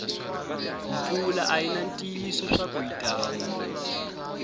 mpfula ayina ntiyiso swaku yitana